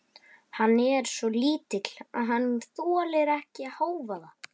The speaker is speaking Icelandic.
Hann er svo lítill að hann þolir ekki hávaða.